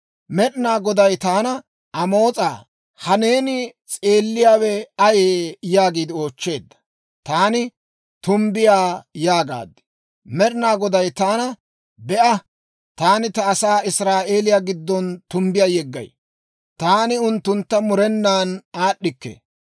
Med'inaa Goday taana, «Amoos'aa, ha neeni s'eelliyaawe ayee?» yaagiide oochcheedda. Taani, «Tumbbiyaa» yaagaad. Med'inaa Goday taana, «Be'a, taani ta asaa Israa'eeliyaa giddon tumbbiyaa yeggay; taani unttuntta murenan aad'd'ikke.